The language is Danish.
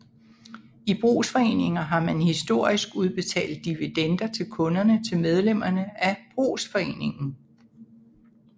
I brugsforeninger har man historisk udbetalt dividender til kunderne til medlemmerne af brugsforeningen